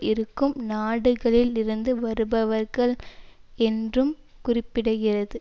இருக்கும் நாடுகளில் இருந்து வருபவர்கள் என்றும் குறிப்பிடுகிறது